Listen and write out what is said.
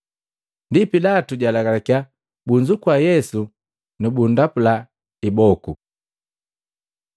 Ndi Pilatu jalagalakiya, bunzukua Yesu nubundapula iboko.